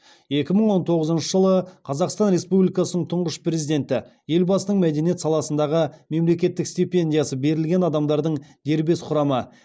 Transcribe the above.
екі мың он тоғызыншы жылы қазақстан республикасының тұңғыш президенті елбасының мәдениет саласындағы мемлекеттік стипендиясы берілген адамдардың дербес құрамы